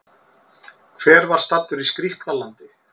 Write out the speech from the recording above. Hver var staddur í Skrýpla-landi?